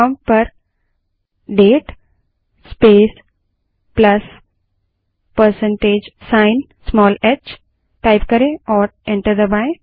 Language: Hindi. प्रोंप्ट पर date space plus percentage sign small h type करें और एंटर दबायें